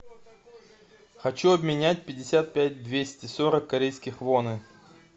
хочу обменять пятьдесят пять двести сорок корейских воны